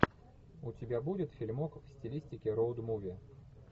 у тебя будет фильмок в стилистике роуд муви